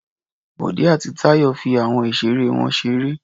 Bọ̀dé àti Táyọ̀ fi àwọn ìṣeré wọn ṣeré.